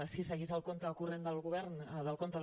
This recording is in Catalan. si seguís el compte corrent del govern del compte